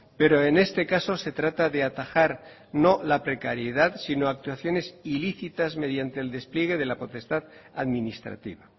pero en este caso se trata de atajar no la precariedad sino actuaciones ilícitas mediante el despliegue de la potestad administrativa